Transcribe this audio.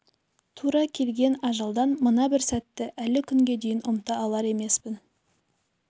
тура келген ажалдан мына бір сәтті әлі күнге дейін ұмыта алар емес